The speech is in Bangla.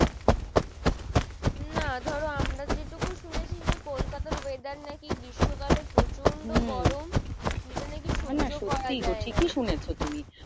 না ধরো আমরা যেটুকু শুনেছি যে, কলকাতার weather নাকি গ্রীষ্ম কালে প্রচন্ড গরম।